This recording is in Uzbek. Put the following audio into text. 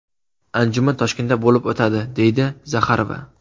Anjuman Toshkentda bo‘lib o‘tadi”, deydi Zaxarova.